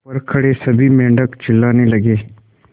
ऊपर खड़े सभी मेढक चिल्लाने लगे